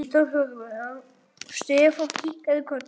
Stefán kinkaði kolli.